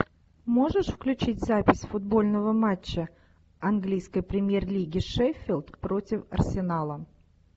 можешь включить запись футбольного матча английской премьер лиги шеффилд против арсенала